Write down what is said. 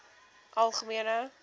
algemene